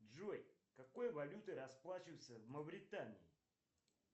джой какой валютой расплачиваются в мавритании